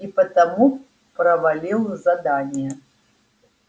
и потому провалил задание